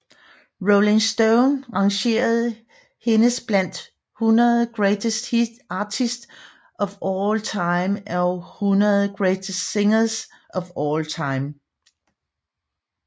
Rolling Stone rangerede hendes blandt 100 Greatest Artists of All Time og 100 Greatest Singers of All Time